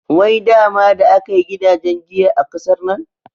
Wai dama da akai gidajen giya a ƙasar nan?